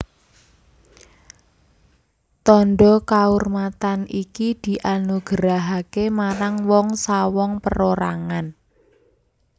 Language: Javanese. Tandha kaurmatan iki dianugerahaké marang wong sawong perorangan